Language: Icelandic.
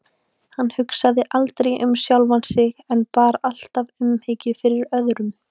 Hann hugsaði aldrei um sjálfan sig en bar alltaf umhyggju fyrir öðrum.